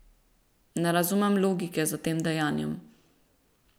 Ne razumem logike za tem dejanjem.